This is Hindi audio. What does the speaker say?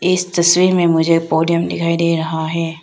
इस तस्वीर में मुझे पोडियम दिखाई दे रहा है।